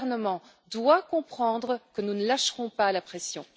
gouvernement doit comprendre que nous ne lâcherons pas la pression.